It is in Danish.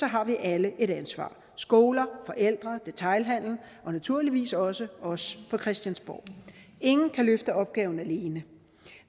har vi alle et ansvar skoler forældre detailhandelen og naturligvis også os på christiansborg ingen kan løfte opgaven alene